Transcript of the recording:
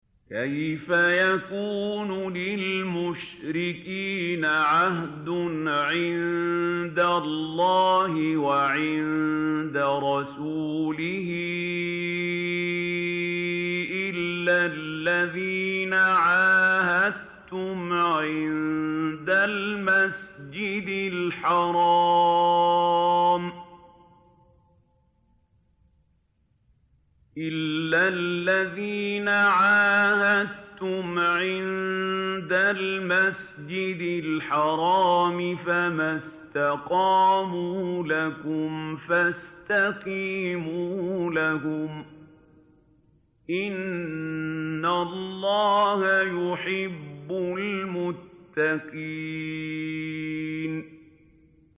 كَيْفَ يَكُونُ لِلْمُشْرِكِينَ عَهْدٌ عِندَ اللَّهِ وَعِندَ رَسُولِهِ إِلَّا الَّذِينَ عَاهَدتُّمْ عِندَ الْمَسْجِدِ الْحَرَامِ ۖ فَمَا اسْتَقَامُوا لَكُمْ فَاسْتَقِيمُوا لَهُمْ ۚ إِنَّ اللَّهَ يُحِبُّ الْمُتَّقِينَ